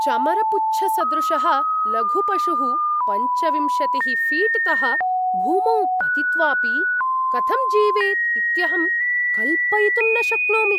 चमरपुच्छसदृशः लघुः पशुः पञ्चविंशतिः फ़ीट्तः भूमौ पतित्वापि कथं जीवेत् इत्यहं कल्पयितुं न शक्नोमि।